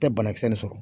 Tɛ banakisɛ nin sɔrɔ